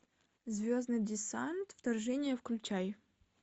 звездный десант вторжение включай